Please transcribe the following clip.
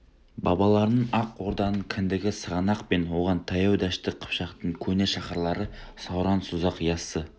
бабаларының ақ орданың кіндігі сығанақ пен оған таяу дәшті қыпшақтың көне шаһарлары сауран созақ яссы